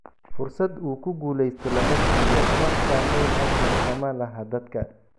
fursad uu ku guulaysto lama siiyo, wax saamayn ahna kuma laha dadka.